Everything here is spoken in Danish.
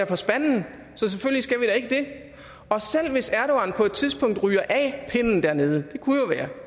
på spanden så selvfølgelig skal vi ikke det og selv hvis erdogan på et tidspunkt ryger af pinden dernede